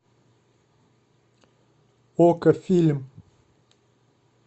окко фильм